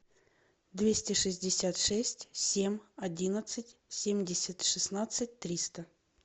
двести шестьдесят шесть семь одиннадцать семьдесят шестнадцать триста